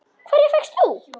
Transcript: Hverja fékkst þú?